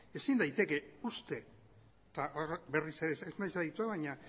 ezin da uste eta berriz ere ez naiz aditua baina